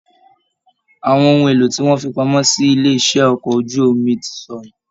Àwọn ohùn èlò tí wọn fí pamọ́ silé iṣẹ okọ̀ ojú omi ti sọnù.